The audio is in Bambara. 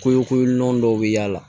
Ko ko lundon dɔw bi y'ala